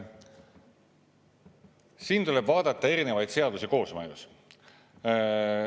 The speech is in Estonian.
Siin tuleb vaadata erinevaid seadusi koosmõjus.